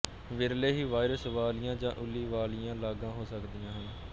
ਵਿਰਲੇ ਹੀ ਵਾਇਰਸ ਵਾਲੀਆਂ ਜਾਂ ਉੱਲੀ ਵਾਲੀਆਂ ਲਾਗਾਂ ਹੋ ਸਕਦੀਆਂ ਹਨ